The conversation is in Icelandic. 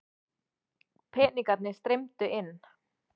Peningarnir streymdu inn.